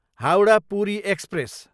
Howrah, Puri express